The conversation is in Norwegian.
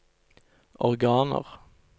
organer